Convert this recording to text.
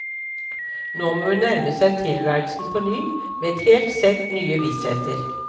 Nå må hun nærme seg tilværelsen på ny, med et helt sett nye vissheter.